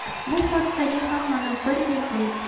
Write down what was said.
Bu hodisaga ham mana bir yil bo‘libdi.